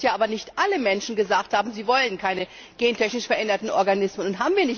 Es ist aber so, dass ja nicht alle Menschen gesagt haben, sie wollen keine gentechnisch veränderten Organismen.